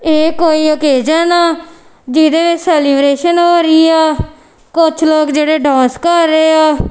ਇਹ ਕੋਈ ਔਕੇਜਨ ਆ ਜਿਹਦੇ ਵਿੱਚ ਸੈਲੀਬਰੇਸ਼ਨ ਹੋ ਰਹੀ ਐ ਕੁਝ ਲੋਕ ਜਿਹੜੇ ਡਾਂਸ ਕਰ ਰਹੇ ਆ।